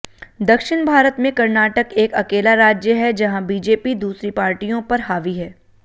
दक्षिण भारत में कर्नाटक एक अकेला राज्य है जहाँ बीजेपी दूसरी पार्टियों पर हावी है